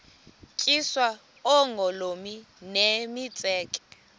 tyiswa oogolomi nemitseke